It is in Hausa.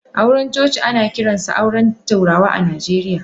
Auren coci ana kiransa auren turawa a Najeriya.